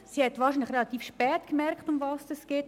Sie hat wahrscheinlich relativ spät gemerkt, worum es geht.